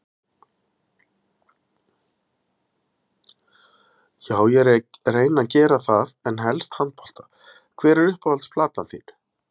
já ég reyni að gera það en helst handbolta Hver er uppáhalds platan þín?